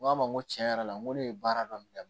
N ko a ma n ko tiɲɛ yɛrɛ la n ko ne ye baara dɔ daminɛ